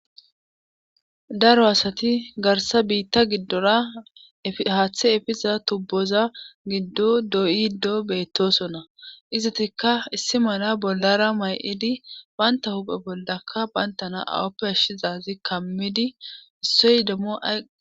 Daro asati garsa biita gidora haathe efiza tuuboza gido doo'ido beetosona. izatikka issi mala bollara ma'idi banta huuphe bollakka bantana awappe ashizassa kaamidi issoy demmo ayfe ..